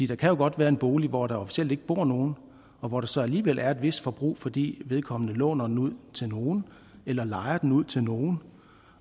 der kan jo godt være en bolig hvor der officielt ikke bor nogen og hvor der så alligevel er et vist forbrug fordi vedkommende låner den ud til nogen eller lejer den ud til nogen